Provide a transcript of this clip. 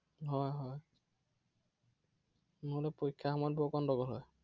হয় হয় নহলে পৰীক্ষাৰ সময়ত বৰ গণ্ডগোল হয়।